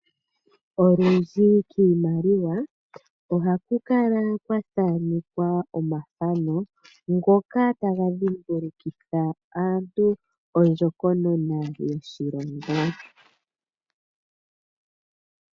Olundji kiimaliwa ohaku kala kwa thaanekwa omathano, ngoka taga dhimbulukitha aantu ondjokonona yoshilongo.